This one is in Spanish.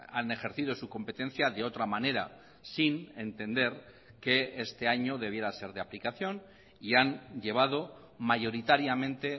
han ejercido su competencia de otra manera sin entender que este año debiera ser de aplicación y han llevado mayoritariamente